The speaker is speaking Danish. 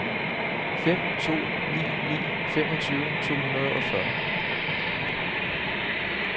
fem to ni ni femogtyve to hundrede og fyrre